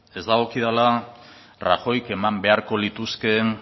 ez dagokidala rajoyk eman beharko lituzkeen